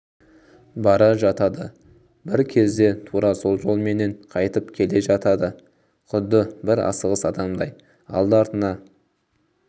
бара жатады бір кезде тура сол жолменен қайтып келе жатады құдды бір асығыс адамдай алды-артына